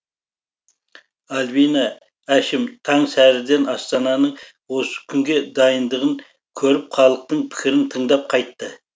альбина әшім таң сәріден астананың осы күнге дайындығын көріп халықтың пікірін тыңдап қайтты